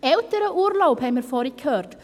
Elternurlaub, haben wir vorhin gehört: